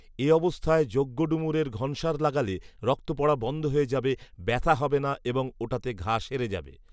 এ অবস্থায় যজ্ঞডুমুরের ঘনসার লাগালে রক্ত পড়া বন্ধ হয়ে যাবে, ব্যথা হবে না এবং ওটাতে ঘা সেরে যাবে